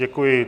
Děkuji.